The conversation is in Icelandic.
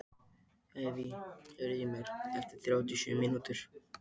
Evey, heyrðu í mér eftir þrjátíu og sjö mínútur.